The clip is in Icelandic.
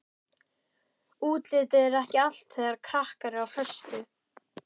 Útlitið er ekki allt þegar krakkar eru á föstu.